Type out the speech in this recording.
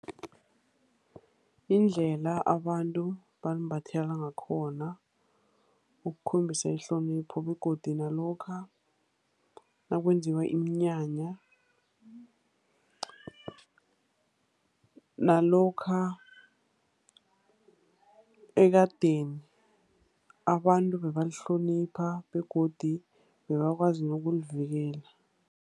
Indlela abantu balimbathela ngakhona, ukukhombisa ihlonipho begodu nalokha nakwenziwa iminyanya, nalokha ekadeni abantu bebalihlonipha begodu bebakwazi nokulivikela.